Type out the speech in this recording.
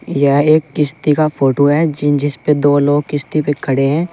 यह एक किश्ती का फोटो है जिन जिस पर दो लोग किश्ती पे खड़े हैं।